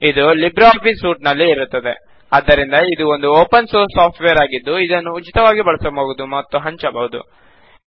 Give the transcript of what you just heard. ಅದು Libre Office suite ನಲ್ಲಿ ಇರುತ್ತದೆ ಆದ್ದರಿಂದ ಇದು ಒಂದು ಒಪೆನ್ ಸೋರ್ಸ್ ಸಾಫ್ಟ್ ವೇರ್ ಆಗಿದ್ದು ಅದನ್ನು ಉಚಿತವಾಗಿ ಬಳಸಬಹುದು ಹಾಗೂ ಹಂಚಬಹುದು